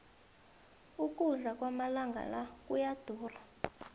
ukudla kwamalanga la kuyadura